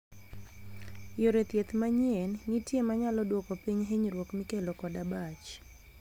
Yore thieth manyien nitie manyalo duoko piny hinyruok mikelo kod abach.